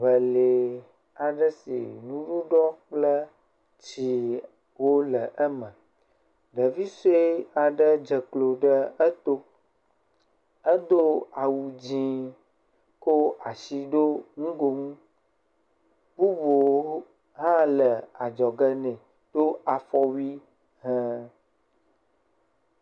Ŋe lɛ aɖe si mumuɖɔ kple tsi wo le eme. Ɖevi sue aɖe dze klo ɖe eto edo awu dzi ko asi ɖo nugonu. Bubu hã le adzɔge nɛ do afɔwui he.